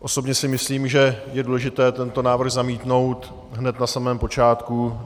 Osobně si myslím, že je důležité tento návrh zamítnout hned na samém počátku.